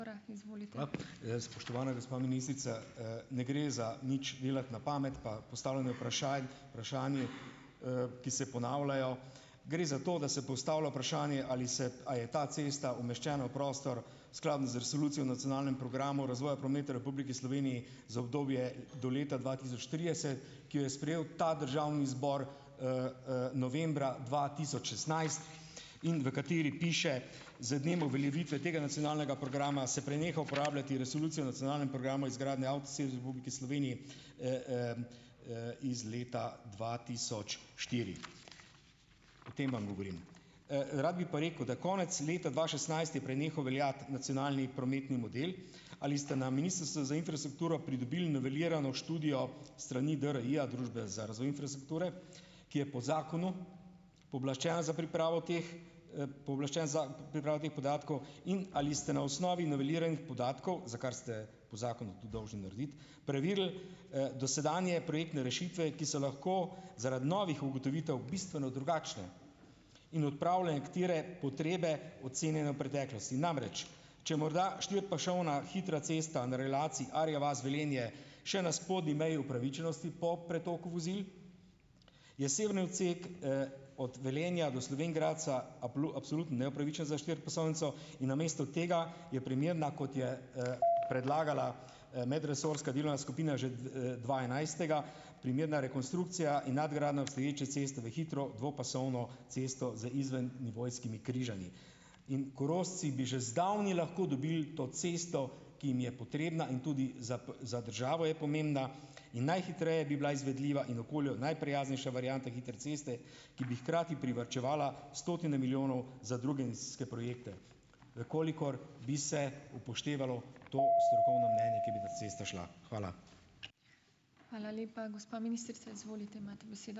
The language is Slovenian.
Spoštovana gospa ministrica, ne gre za nič delati na pamet, pa postavljanje vprašanj, vprašanj, ki se ponavljajo. Gre za to, da se postavlja vprašanje, ali se, a je ta cesta umeščena v prostor skladna z resolucijo o nacionalnem programu razvoja prometa v Republiki Sloveniji za obdobje do leta dva tisoč trideset, ki jo je sprejel ta državni zbor, novembra dva tisoč šestnajst in v kateri piše: "Z dnem uveljavitve tega nacionalnega programa se preneha uporabljati resolucijo o nacionalnem programu izgradnje avtocest v Republiki Sloveniji, iz leta dva tisoč štiri." O tem vam govorim. Rad bi pa rekel, da konec leta dva šestnajst je prenehal veljati nacionalni prometni model. Ali ste na Ministrstvu za infrastrukturo pridobili novelirano študijo s strani DRI-ja, Družbe za razvoj infrastrukture, ki je po zakonu pooblaščena za pripravo teh, pooblaščena za pripravo teh podatkov. In ali ste na osnovi noveliranih podatkov, za kar ste po zakonu tudi dovžni narediti, preverili, dosedanje projektne rešitve, ki so lahko zaradi novih ugotovitev bistveno drugačne in odpravile nekatere potrebe, ocenjene v preteklosti? Namreč, če morda štiripasovna hitra cesta na relaciji Arja vas-Velenje še na spodnji meji upravičenosti po pretoku vozil, je severni odsek, od Velenja do Slovenj Gradca absolutno neupravičen za štiripasovnico in namesto tega je primerna, kot je, predlagala, medresorska delovna skupina že dva enajstega, primerna rekonstrukcija in nadgradnja obstoječe ceste v hitro dvopasovno cesto z izvennivojskimi križanji. In Korošci bi že zdavnaj lahko dobili to cesto, ki jim je potrebna in tudi za za državo je pomembna in najhitreje bi bila izvedljiva in okolju najprijaznejša varianta hitre ceste, ki bi hkrati privarčevala stotine milijonov za druge investicijske projekte, v kolikor bi se upoštevalo to strokovno mnenje, ki bi ta cesta šla. Hvala.